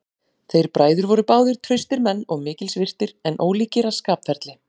Þeir bræður voru báðir traustir menn og mikils virtir, en ólíkir að skapferli.